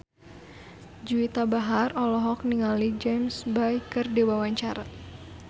Juwita Bahar olohok ningali James Bay keur diwawancara